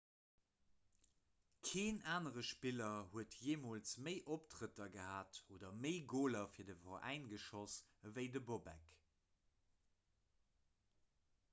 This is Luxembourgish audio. keen anere spiller huet jeemools méi optrëtter gehat oder méi goler fir de veräi geschoss ewéi de bobek